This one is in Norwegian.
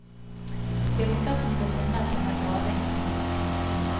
Gullskatten ble funnet under graving i myr.